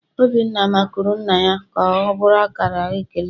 Obinna makụrụ nna ya ka ọ bụrụ akara ekele.